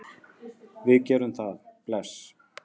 Já, við gerum það. Bless.